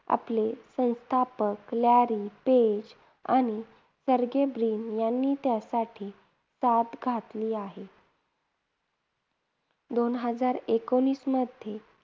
आपले संस्थापक Larry Page आणि सर्गेई ब्रिन यांनी त्यासाठी साद घातली आहे. दोन हजार एकोणवीसमध्ये